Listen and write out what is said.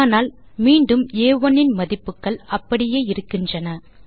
ஆனால் மீண்டும் ஆ1 இன் மதிப்புகள் அப்படியே இருக்கின்றன